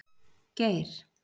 Geir